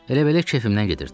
Elə belə kefimdən gedirdim.